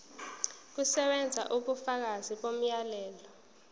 kusebenza ubufakazi bomyalelo